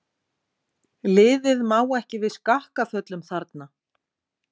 Liðið má ekki við skakkaföllum þarna.